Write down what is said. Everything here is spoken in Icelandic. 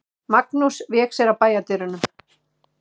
Magnús vék sér að bæjardyrunum.